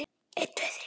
Ég bara á ekki orð.